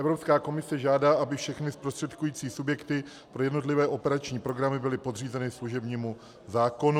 Evropská komise žádá, aby všechny zprostředkující subjekty pro jednotlivé operační programy byly podřízeny služebnímu zákonu.